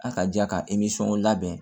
A ka ja ka labɛn